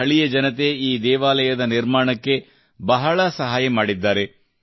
ಸ್ಥಳೀಯ ಜನತೆ ಈ ದೇವಾಲಯದ ನಿರ್ಮಾಣಕ್ಕೆ ಬಹಳ ಸಹಾಯ ಮಾಡಿದ್ದಾರೆ